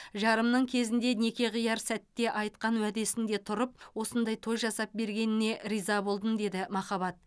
жарымның кезінде неке қияр сәтте айтқан уәдесінде тұрып осындай той жасап бергеніне риза болдым деді махаббат